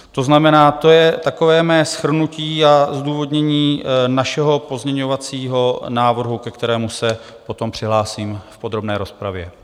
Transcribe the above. To znamená, to je takové mé shrnutí a zdůvodnění našeho pozměňovacího návrhu, ke kterému se potom přihlásím v podrobné rozpravě.